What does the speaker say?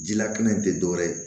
Jilakɛnɛ tɛ dɔwɛrɛ ye